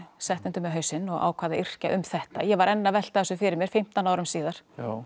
setti undir mig hausinn og ákvað að yrkja um þetta ég var enn að velta þessu fyrir mér fimmtán árum síðar